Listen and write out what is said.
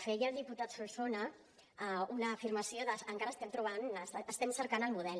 feia el diputat solsona una afirmació d’ encara estem cercant el model